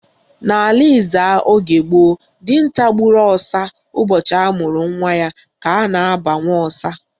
N'ala Ezza oge gboo, dinta gburu ọsa ụbọchị amụrụ nwa ya ka a na-aba Nwaọsa.